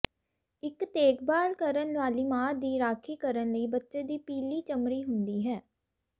ਇਕ ਦੇਖਭਾਲ ਕਰਨ ਵਾਲੀ ਮਾਂ ਦੀ ਰਾਖੀ ਕਰਨ ਲਈ ਬੱਚੇ ਦੀ ਪੀਲੀ ਚਮੜੀ ਹੁੰਦੀ ਹੈ